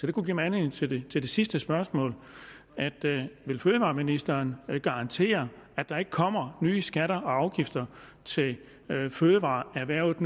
det kunne give mig anledning til det sidste spørgsmål vil fødevareministeren garantere at der ikke kommer nye skatter og afgifter til fødevareerhvervet